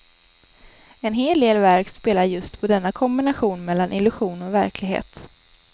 En hel del verk spelar just på denna kombination mellan illusion och verklighet.